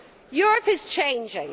Europe is changing.